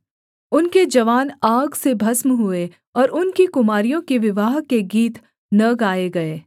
उनके जवान आग से भस्म हुए और उनकी कुमारियों के विवाह के गीत न गाएँ गए